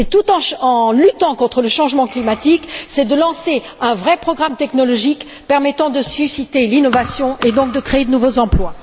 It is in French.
C'est, tout en luttant contre le changement climatique, de lancer un vrai programme technologique permettant de susciter l'innovation et donc de créer de nouveaux emplois.